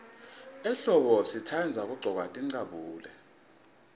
ehlombo sitandza kuggcoka tincabule